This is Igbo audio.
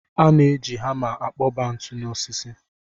A na-eji hama akpọba ntu n'osisi